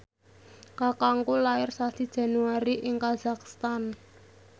kakangku lair sasi Januari ing kazakhstan